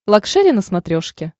лакшери на смотрешке